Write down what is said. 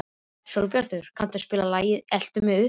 Sólbjartur, kanntu að spila lagið „Eltu mig uppi“?